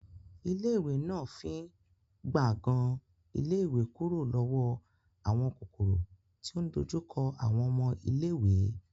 Ilé ìwé náà fín gbàngan ilé ìwé kúrò lọ́wọ́ àwọn kòkòrò tí ò ń dojú kọ àwọn ọmọ iléèwé